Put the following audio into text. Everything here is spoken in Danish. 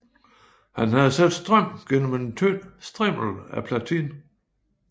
Han havde sat strøm gennem en tynd strimmel af platin